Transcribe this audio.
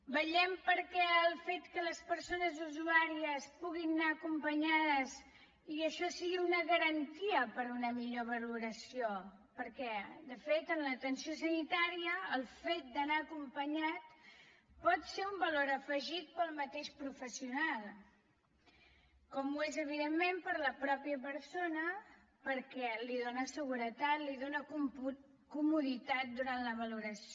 vetllem pel fet que les persones usuàries puguin anar acompanyades i això sigui una garantia per a una millor valoració perquè de fet en l’atenció sanitària el fet d’anar acompanyat pot ser un valor afegit per al mateix professional com ho és evidentment per a la mateixa persona perquè li dona seguretat li dona comoditat durant la valoració